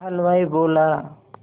हलवाई बोला